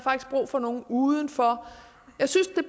brug for nogle udefra jeg synes at det